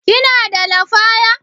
Kina da lafaya?